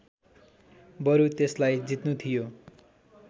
बरु त्यसलाई जित्नु थियो